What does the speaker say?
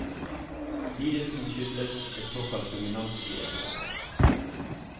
Lidelsen skyldes et såkalt dominant gen.